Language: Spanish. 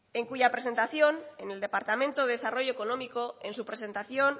en cuya presentación en el departamento de desarrollo económico en su presentación